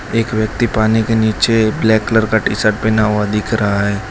एक व्यक्ति पानी के नीचे ब्लैक कलर का टी शर्ट पहना हुआ दिख रहा है।